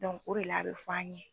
o de la a bɛ fɔ an ye